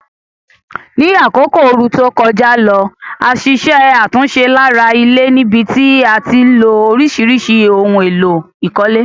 Ní àkókò ooru to kojá lo, a ṣiṣẹ́ àtúnse lára ilé níbití a tilo orísìrísì oun élò ìkólé